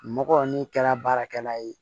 Mɔgɔ min kɛra baarakɛla ye